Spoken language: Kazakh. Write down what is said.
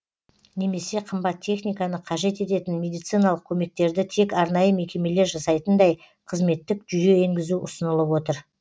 немесе қымбат техниканы қажет ететін медициналық көмектерді тек арнайы мекемелер жасайтындай қызметтік жүйе енгізу ұсынылып отыр